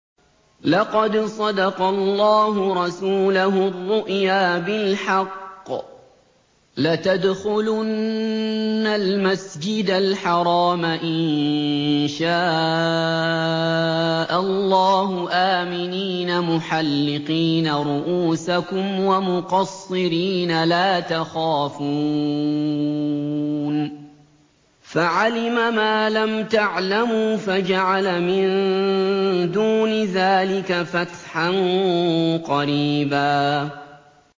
لَّقَدْ صَدَقَ اللَّهُ رَسُولَهُ الرُّؤْيَا بِالْحَقِّ ۖ لَتَدْخُلُنَّ الْمَسْجِدَ الْحَرَامَ إِن شَاءَ اللَّهُ آمِنِينَ مُحَلِّقِينَ رُءُوسَكُمْ وَمُقَصِّرِينَ لَا تَخَافُونَ ۖ فَعَلِمَ مَا لَمْ تَعْلَمُوا فَجَعَلَ مِن دُونِ ذَٰلِكَ فَتْحًا قَرِيبًا